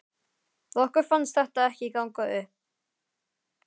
Okkur fannst þetta ekki ganga upp.